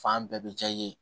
Fan bɛɛ bɛ ja i ye